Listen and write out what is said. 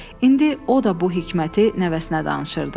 İndi o da bu hikməti nəvəsinə danışırdı.